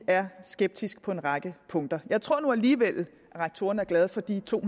er skeptiske på en række punkter jeg tror nu alligevel at rektorerne er glade for de to